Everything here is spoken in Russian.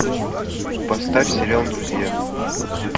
поставь сериал друзья